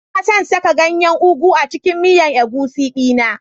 Ina son saka ganyen ugu a cikin miyan egusi dina.